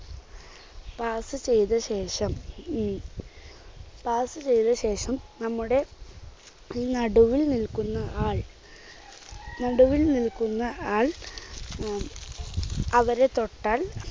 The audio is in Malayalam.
pass ചെയ്ത ശേഷം ഉം pass ചെയ്ത ശേഷം നമ്മുടെ നടുവിൽ നിൽക്കുന്ന ആൾ നടുവിൽ നിൽക്കുന്ന ആൾ ഉം അവരെ തൊട്ടാൽ